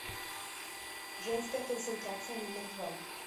женская консультация номер два